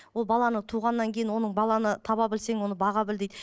ол баланы туғаннан кейін оның баланы таба білсең оны баға біл дейді